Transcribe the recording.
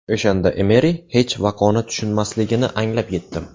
O‘shanda Emeri hech vaqoni tushunmasligini anglab yetdim.